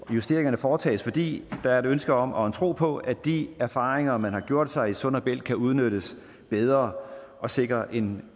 justeringerne foretages fordi der er et ønske om og en tro på at de erfaringer man har gjort sig i sund og bælt kan udnyttes bedre og sikre en